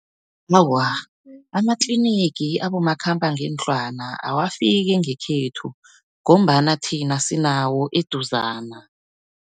Awa, amatlinigi abomakhambangendlwana awafiki ngekhethu, ngombana thina sinawo eduzana.